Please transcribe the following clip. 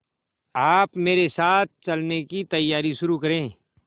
आप मेरे साथ चलने की तैयारी शुरू करें